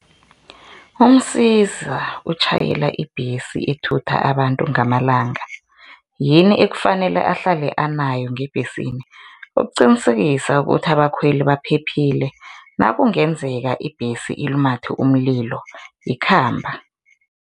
UMsiza utjhayela ibhesi ethutha abantu ngamalanga, yini ekufanele ahlale abanayo ngebhesini ukuqinisekisa ukuthi abakhweli baphephile nakungenzeka ibhesi ilumathe umlilo ikhamba?